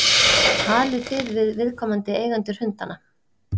Talið þið við viðkomandi eigendur hundanna?